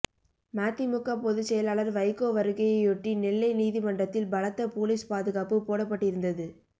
மதிமுக பொதுச் செயலாளர் வைகோ வருகையையொட்டி நெல்லை நீதிமன்றத்தில் பலத்த போலீஸ் பாதுகாப்பு போடப்பட்டிருந்தது